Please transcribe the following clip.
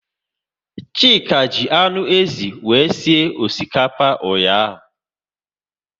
Chika ji anụ ézì wee sie osikapa ụnyaahụ